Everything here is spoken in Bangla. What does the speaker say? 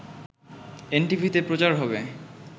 এনটিভিতে প্রচার হবে